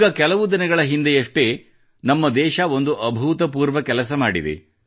ಈಗ ಕೆಲವು ದಿನಗಳ ಹಿಂದೆಯಷ್ಟೇ ನಮ್ಮ ದೇಶ ಒಂದು ಅಭೂತಪೂರ್ವ ಕೆಲಸ ಮಾಡಿದೆ